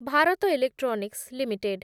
Bharat Electronics limited